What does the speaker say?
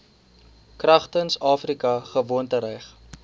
kragtens afrika gewoontereg